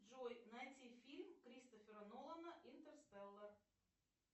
джой найти фильм кристофера нолана интерстеллар